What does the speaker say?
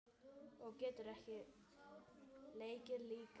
Og getur leikið líka.